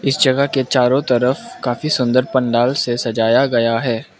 इस जगह के चारों तरफ काफी सुंदर पंडाल से सजाया गया है।